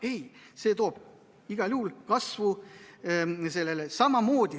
Ei, see toob igal juhul kaasa selle kasvu.